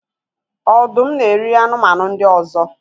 Ọdụm na-eri anụmanụ ndị ọzọ